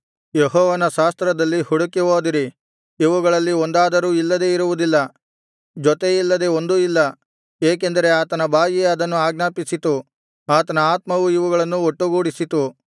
ಯೆಹೋವನ ಶಾಸ್ತ್ರದಲ್ಲಿ ಹುಡುಕಿ ಓದಿರಿ ಇವುಗಳಲ್ಲಿ ಒಂದಾದರೂ ಇಲ್ಲದೆ ಇರುವುದಿಲ್ಲ ಜೊತೆಯಿಲ್ಲದೆ ಒಂದೂ ಇಲ್ಲ ಏಕೆಂದರೆ ಆತನ ಬಾಯಿಯೇ ಅದನ್ನು ಆಜ್ಞಾಪಿಸಿತು ಆತನ ಆತ್ಮವು ಇವುಗಳನ್ನು ಒಟ್ಟುಗೂಡಿಸಿತು